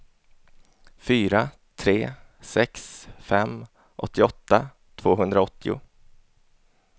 fyra tre sex fem åttioåtta tvåhundraåttio